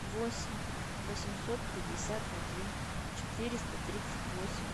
восемь восемьсот пятьдесят один четыреста тридцать восемь